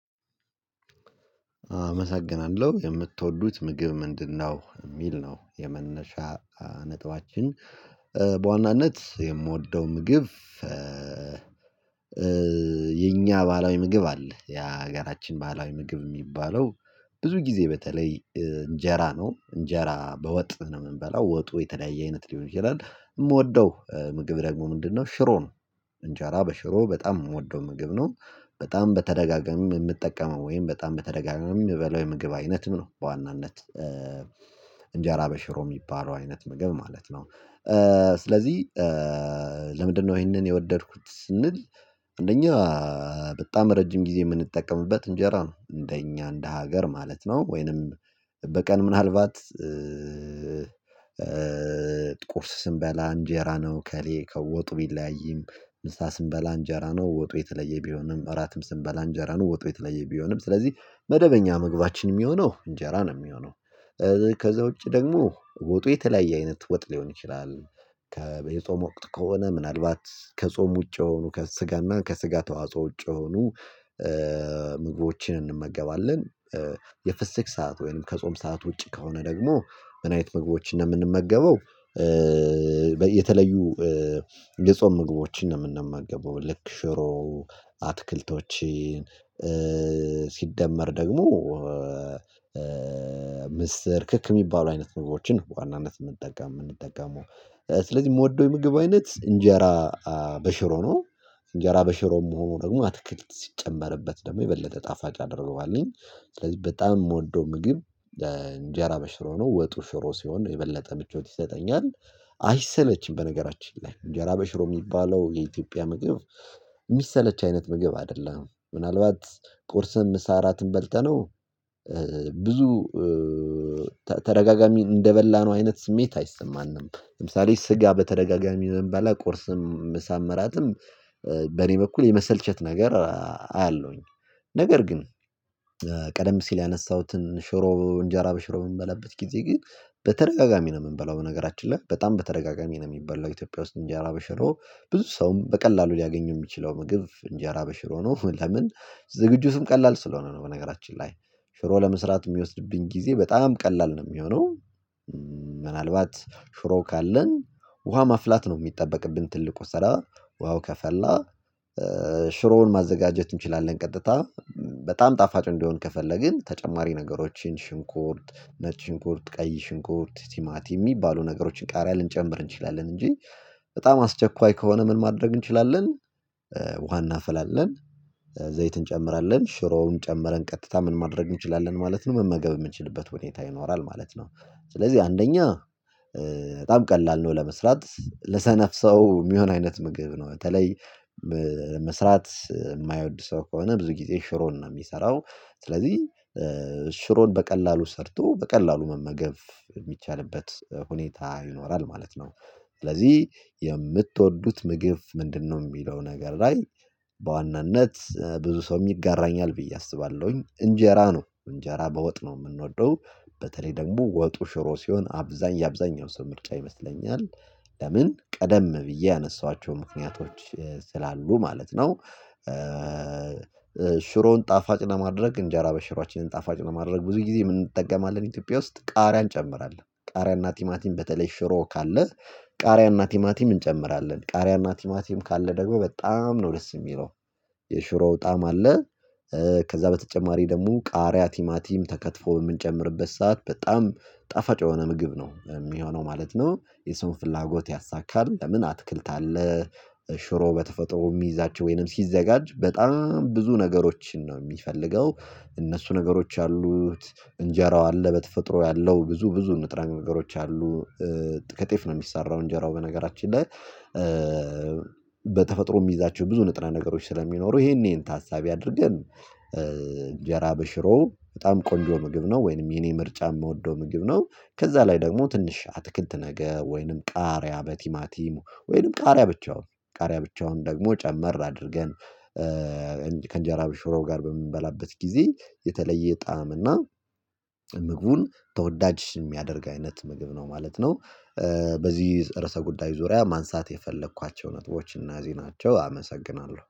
"አመሰግናለሁ የምትወዱት ምግብ ምንድነው?" የሚል ነው የመነሻ ነጥባችን። በዋናነት የምወደው ምግብ የኛ ባህላዊ ምግብ አለ የሀገራችን ባለው ምግብ የሚባለው ብዙ ጊዜ በተለይ እንጀራ ነው። እንጀራ በወጥ ነው የምንበላው ወጡ የተለያየ አይነት ሊሆን ይችላል የምወደው ምግብ ደግሞ ምንድነው ሽሮ ነው እንጀራ በሽሮ በጣም የምወደው ምግብ ነው በጣም በተደጋጋሚ የምጠቀመው ወይም በጣም በተደጋጋሚ የምበላው የምግብ አይነትም ነው በዋናነት እንጀራ በሽሮ የሚባለው አይነት ምግብ ማለት ነው። ስለዚህ ለምንድነው ይሄንን የወደድኩት ስንል አንደኛ በጣም ረጅም ጊዜ የምንጠቀምበት እንጀራ ነው። እንደኛ እንደ ሀገር ማለት ነው ወይንም በቀን ምናልባት ቁርስ ስንበላ እንጀራ ነው ከሌ ከወጡ ቢለያይም፣ ምሳ ስንበላ እንጀራ ነው ወጡ የተለየ ቢሆንም፣ እራትም ስንበላ እንጀራ ነው ወጡ የተለየ ቢሆንም ስለዚህ መደበኛ ምግባችን የሚሆነው እንጀራ ነው የሚሆነው። ከዛ ውጪ ደግሞ ወጡ የተለያየ አይነት ወጥ ሊሆን ይችላል። ከ በ የጾም ወቅት ከሆነ ምናልባት ከጾም ውጪ የሆኑ ከስጋና ከስጋ ተዋጽኦ ውጪ የሆኑ ምግቦችን እንመገባለን። የፍስክ ሰዓት ወይም ከጾም ሰዓት ውጪ ከሆነ ደግሞ ምን አይነት ምግቦችን የምንመገበው የተለዩ የጾም ምግቦችን ነው የምንመገበው። ልክ ሽሮ፣ አትክልቶችን ሲደመር ደግሞ ምስር ክክ የሚባሉ አይነት ምግቦችን ነው በዋናነት የምንጠቀም የምንጠቀመው። ስለዚህ የምወደው የምግብ አይነት እንጀራ በሽሮ ነው። እንጀራ በሽሮም ሆኖ ደግሞ አትክልት ሲጨመርበት ደግሞ የበለጠ ጣፋጭ ያደርገዋጎልኝ። ስለዚህ በጣም የምወደው ምግብ እንጀራ በሽሮ ነው ወጡ ሽሮ ሲሆን የበለጠ ምቾት ይሰጠኛል። አይሰለችም በነገራችን ላይ እንጀራ በሽሮ የሚባለው የኢትዮጵያ ምግብ የሚሰለች አይነት ምግብ አይደለም። ምናልባት ቁርስም ምሳ እራትም በልተነው ብዙ ተደጋጋሚ እንደበላነው አይነት ስሜት አይሰማንም። ለምሳሌ ስጋ በተደጋጋሚ ብንበላ ቁርስም ምሳም እራትም በኔ በኩል የመሰልቸት ነገር አያለውኝ፤ ነገር ግን ቀደም ሲል ያነሳሁትን ሽሮ እንጀራ በሽሮ በምንበላበት ጊዜ ግን በተደጋጋሚ ነው የምንበላው በነገራችን ላይ በጣም በተደጋጋሚ ነው የሚበላው ኢትዮጵያ ውስጥ እንጀራ በሽሮ ብዙ ሰውም በቀላሉ ሊያገኘው የሚችለው ምግብ እንጀራ በሽሮ ነው። ለምን ዝግጁትም ቀላል ስለሆነ ነው በነገራችን ላይ ሽሮ ለመስራት የሚወስድብኝ ጊዜ በጣም ቀላል ነው የሚሆነው። ምናልባት ሽሮ ካለን ውሃ ማፍላት ነው የሚጠበቅብን ትልቁ ስራ ውሃው ከፈላ ሽሮውን ማዘጋጀት እንችላለን ቀጥታ በጣም ጣፋጭ እንዲሆን ከፈለግን ተጨማሪ ነገሮችን ሽንኩርት፣ ነጭ ሽንኩርት፣ ቀይ ሽንኩርት፣ ቲማቲ የሚባሉ ነገሮችን ቃሪያ ልንጨምር እንችላለን እንጂ በጣም አስቸኳይ ከሆነ ምን ማድረግ እንችላለን ውሃ እናፈላለን ዘይት እንጨምራለን ሽሮውን ጨምረን ቀጥታ ምን ማድረግ እንችላለን ማለት ነው መመገብ የምንችልበት ሁኔታ ይኖራል ማለት ነው። ስለዚህ አንደኛ በጣም ቀላል ነው ለመስራት ለሰነፍ ሰው የሚሆን አይነት ምግብ ነው። በተለይ መስራት የማይወድ ሰው ከሆነ ብዙ ጊዜ ሽሮን ነው የሚሰራው። ስለዚህ ሽሮን በቀላሉ ሰርቶ በቀላሉ መመገብ የሚቻልበት ሁኔታ ይኖራል ማለት ነው። ስለዚህ "የምትወዱት ምግብ ምንድነው?" የሚለው ነገር ላይ በዋናነት ብዙ ሰውም ይጋራኛል ብዬ አስባለሁኝ እንጀራ ነው እንጀራ በወጥ ነው የምንወደው። በተለይ ደግሞ ወጡ ሽሮ ሲሆን አብዛኛ የአብዛኛው ሰው ምርጫ ይመስለኛል። ለምን ቀደም ብዬ ያነሳኋቸው ምክንያቶች ስላሉ ማለት ነው። ሽሮን ጣፋጭ ለማድረግ እንጀራ በሽሯችንን ጣፋጭ ለማድረግ ብዙ ጊዜ ምን እንጠቀማለን ኢትዮጵያ ውስጥ ቃሪያ እንጨምራለን ቃሪያና ቲማቲም በተለይ ሽሮ ካለ ቃሪያና ቲማቲም እንጨምራለን። ቃሪያና ቲማቲም ካለ ደግሞ በጣም ነው ደስ የሚለው። የሽሮው ጣዕም አለ ከዛ በተጨማሪ ደግሞ ቃሪያ ቲማቲም ተከትፎ የምንጨምርበት ሰዓት በጣም ጣፋጭ የሆነ ምግብ ነው የሚሆነው ማለት ነው። የሰውን ፍላጎት ያሳካል፤ ለምን አትክልታ አለ፣ ሽሮ በተፈጥሮ የሚይዛቸው ወይንም ሲዘጋጅ በጣም ብዙ ነገሮችን ነው የሚፈልገው። እነሱ ነገሮች አሉት፣ እንጀራው አለ በተፈጥሮ ያለው ብዙ ብዙ ንጥረ ነገሮች አሉ። ከጤፍ ነው የሚሰራው እንጀራው በነገራችን ላይ በተፈጥሮ የሚይዛቸው ብዙ ንጥረ ነገሮች ስለሚኖሩ ይሄን ይሄን ታሳቢ አድርገን እንጀራ በሽሮ በጣም ቆንጆ ምግብ ነው ወይንም የኔ ምርጫ የምወደው ምግብ ነው። ከዛ ላይ ደግሞ ትንሽ አትክልት ነገር ወይንም ቃሪያ በቲማቲም ወይንም ቃሪያ ብቻውን ቃሪያ ብቻውን ደግሞ ጨመር አድርገን ከእንጀራ በሽሮ ጋር በምንበላበት ጊዜ የተለየ ጣዕም እና ምግቡን ተወዳጅ የሚያደርግ አይነት ምግብ ነው ማለት ነው። በዚህ ርዕሰ ጉዳይ ዙሪያ ማንሳት የፈለኳቸው ነጥቦች እነዚህ ናቸው። አመሰግናለሁ።